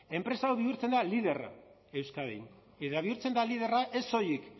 enpresa hau bihurtzen da liderra euskadin eta bihurtzen da liderra ez soilik